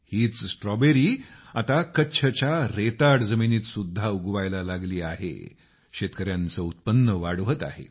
हीच स्ट्रॉबेरी आता कच्छच्या रेताड जमिनीत सुद्धा उगवायला लागली आहे शेतकऱ्यांचं उत्पन्न वाढवत आहे